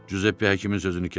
Cüzeppe həkimin sözünü kəsdi.